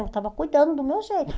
Eu estava cuidando do meu jeito.